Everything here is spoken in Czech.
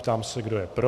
Ptám se, kdo je pro.